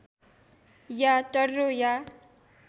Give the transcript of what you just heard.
या टर्रो या